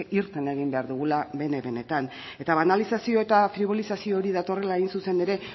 irten egin behar dugula bene benetan eta banalizazio eta fribolizazio hori datorrela hain zuzen ere